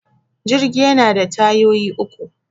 Jirgi yana da tayoyi uku